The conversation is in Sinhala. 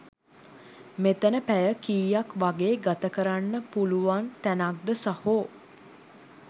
මෙතන පැය කීයක් වගේ ගත කරන්න පුලුවන් තැනක්ද සහෝ?